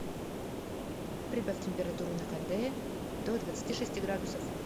прибавь температуру на кондее до двадцати шести градусов